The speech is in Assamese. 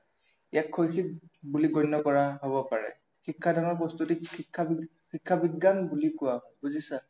ইয়াক শৈক্ষিক বুলি গণ্য় কৰা হব পাৰে, শিক্ষাদানৰ প্ৰস্তুতিক শিক্ষা বিজ্ঞান বুলি কোৱা হয়, বুজিছা